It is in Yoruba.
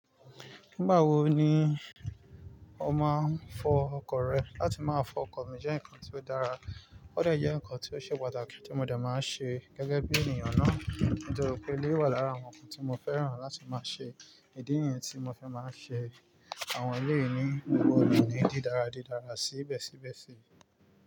Nígbà wo ni o máa ń fọ ọkọ̀ rẹ? Látí máa fọ ọkọ̀ mi jẹ́ nǹkan tí ó dára, ó de jẹ́ ǹkan tí ó ṣe pàtàkì tí mo dẹ̀ máa ń ṣe gẹ́gẹ́ bí ènìyàn náà. Nítorí pé eléyi wà lára àwọn ǹkan tí mo fẹ́ràn láti máa ṣe. Ìdí nìyẹn tí mo fi máa ń ṣe àwọn eleyii ni gbogbo ona, ní dìdára-dìdára sibe sibe si.